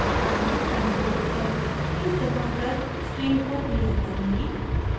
अब मैं ctrl + l keys दबाकर screen को clear करुँगी